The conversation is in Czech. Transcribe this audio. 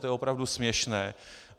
To je opravdu směšné.